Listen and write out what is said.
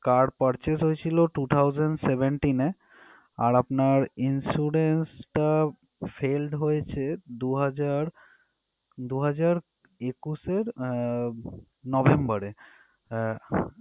Car purchase হয়েছিল two thousand seventeen এ আর আপনার insurance টা failed হয়েছে দুহাজার দুহাজার একুশ এর আহ november এ আহ